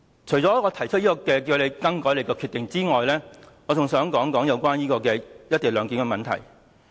除了提出你更改決定的要求外，我還想說說"一地兩檢"的問題。